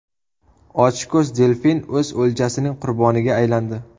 Ochko‘z delfin o‘z o‘ljasining qurboniga aylandi.